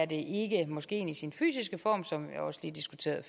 det ikke moskeen i sin fysiske form som jeg også diskuterede